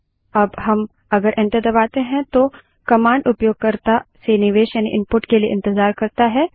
अब हम अगर एन्टर दबाते हैं तो कमांड उपयोगकर्ता से निवेश यानि इनपुट के लिए इंतज़ार करता है